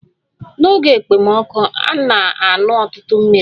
N'oge ekpomọkụ, na-aṅụ ọtụtụ mmiri